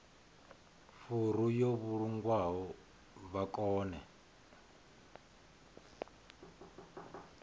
furu yo vhulungwaho vha kone